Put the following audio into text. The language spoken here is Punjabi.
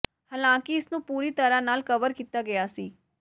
ਹਾਲਾਂਕਿ ਇਸਨੂੰ ਪੂਰੀ ਤਰ੍ਹਾਂ ਨਾਲ ਕਵਰ ਕੀਤਾ ਗਿਆ ਸੀ